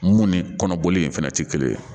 Mun ni kɔnɔboli in fɛnɛ tɛ kelen ye